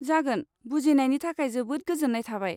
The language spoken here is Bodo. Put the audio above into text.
जागोन, बुजिनायनि थाखाय जोबोद गोजोन्नाय थाबाय।